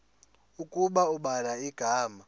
ukuba ubhala igama